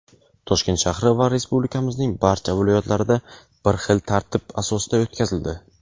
Toshkent shahri va Respublikamizning barcha viloyatlarida bir xil tartib asosida o‘tkazildi.